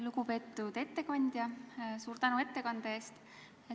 Lugupeetud ettekandja, suur tänu ettekande eest!